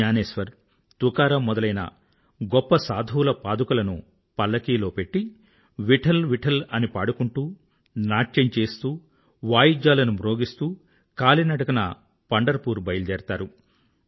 జ్ఞానేశ్వర్ తుకారామ్ మొదలైన గొప్ప సాధువుల పాదుకలను పల్లకీలో పెట్టి విఠ్ఠల్ విఠ్ఠల్ అని పాడుకుంటూ నాట్యం చేస్తూ వాయిద్యాలను మ్రోగిస్తూ కాలి నడకన పండర్ పూర్ బయలుదేరతారు